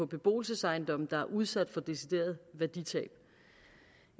beboelsesejendomme der er udsat for deciderede værditab